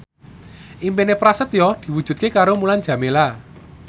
impine Prasetyo diwujudke karo Mulan Jameela